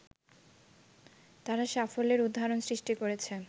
তারা সাফল্যের উদাহরণ সৃষ্টি করেছে